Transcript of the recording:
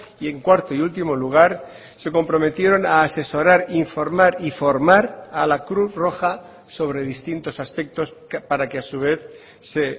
y en cuarto y último lugar se comprometieron a asesorar informar y formar a la cruz roja sobre distintos aspectos para que a su vez se